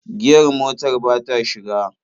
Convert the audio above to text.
Giyar motar ba ta shiga.